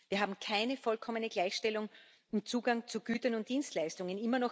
Wir haben keine vollkommene Gleichstellung beim Zugang zu Gütern und Dienstleistungen.